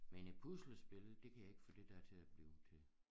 Men et puslespil det kan jeg ikke få det dér til at blive til